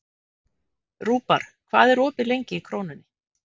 Rúbar, hvað er opið lengi í Krónunni?